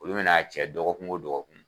Olu bɛna a cɛ dɔgɔkun o dɔgɔkun